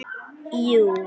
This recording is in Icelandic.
Jú, ég hérna.